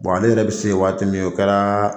ale yɛrɛ bɛ se yen waati min o kɛra